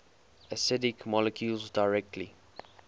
acidic molecules directly